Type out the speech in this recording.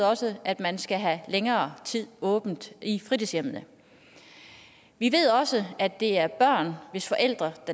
også at man skal have længere tid åbent i fritidshjemmene vi ved også at det er børn hvis forældre